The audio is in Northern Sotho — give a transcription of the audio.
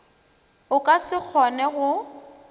o ka se kgone go